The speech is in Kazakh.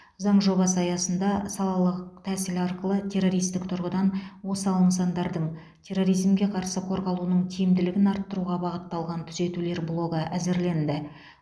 заң жобасы аясында салалық тәсіл арқылы террористік тұрғыдан осал нысандардың терроризмге қарсы қорғалуының тиімділігін арттыруға бағытталған түзетулер блогы әзірленді